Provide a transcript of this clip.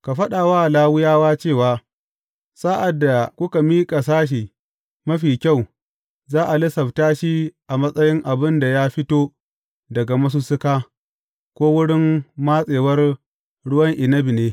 Ka faɗa wa Lawiyawa cewa, Sa’ad da kuka miƙa sashi mafi kyau, za a lissafta shi a matsayin abin da ya fito daga masussuka, ko wurin matsewar ruwan inabi ne.